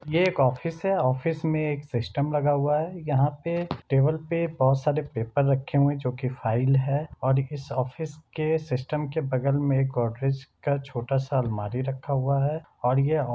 ये एक ऑफिस है ऑफिस मे एक सिस्टम लगा हुआ है यहाँ पे टेबल पे बहोत सारे पेपर रखे हुए है जो की फाइल है और इस ऑफिस के सिस्टम के बगल मैं एक गोदरेज का छोटा सा अलमारी रखा हुआ है और ये ऑफि--